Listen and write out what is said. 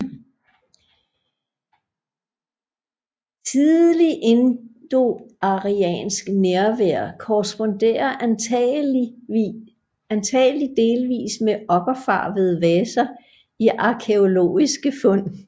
Tidlig indoariansk nærvær korresponderer antagelig delvis med okkerfarvede vaser i arkæologiske fund